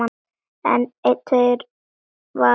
En eitt var á hreinu.